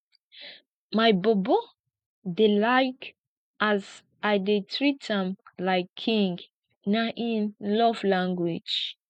my bobo dey like as i dey treat am like king na im love language